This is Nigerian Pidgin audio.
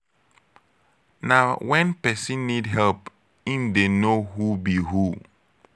na when persin need help im de know who be who